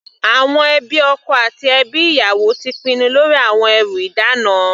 Àwọn ẹbí ọkọ àti ẹbí ìyàwó ti pinnu lórí àwọn ẹrú ìdána.